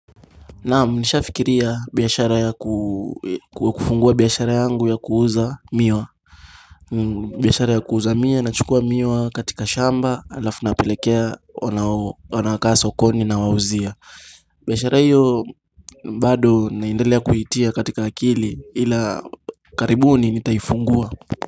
Naam nishafikiria biashara ya kufungua biashara yangu ya kuuza miwa biashara ya kuuza miwa nachukua miwa katika shamba alafu nawapelekea wanaokaa sokoni nawauzia biashara hiyo bado naindelea kutia katika akili ila karibuni nitaifungua.